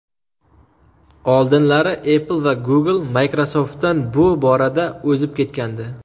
Oldinlari Apple va Google Microsoft’dan bu borada o‘zib ketgandi.